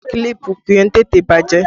Kílípù kì í tètè bàjẹ́